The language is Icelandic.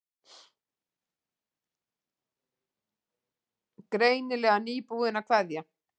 Greinilega nýbúin að kveðja.